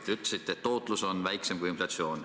Te ütlesite, et tootlus on väiksem kui inflatsioon.